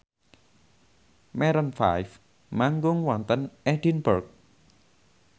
Maroon 5 manggung wonten Edinburgh